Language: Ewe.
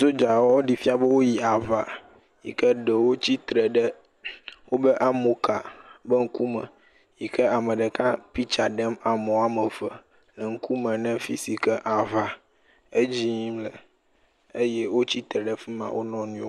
Sodzawo ɖee fia be woyi aŋa yi ke ɖewo tsitre ɖe woƒe amoka ƒe ŋkume yi ke ame ɖeka piktsa ɖem ame woame eve, eŋkume ne fi si ke aŋa edzi yim le eye wotsitre ɖe fi ma wo nɔnɔewo.